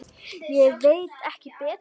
Ég veit ekki betur.